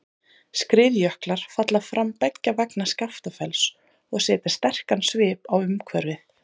Skriðjöklar falla fram beggja vegna Skaftafells og setja sterkan svip á umhverfið.